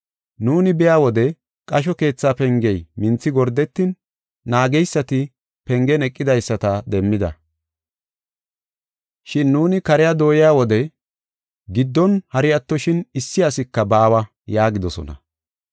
“Nuuni biya wode qasho keetha pengey minthi gordetin, naageysati pengen eqidaysata demmida. Shin nuuni kariya dooyiya wode giddon hari attoshin issi asika baawa” yaagidosona.